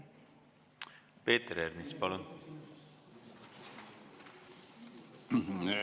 Peeter Ernits, palun!